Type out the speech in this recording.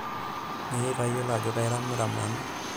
meitayiolo ajo kairamiram nanu